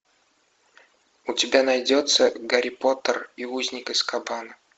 у тебя найдется гарри поттер и узник азкабана